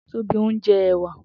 Tobi n jè èwà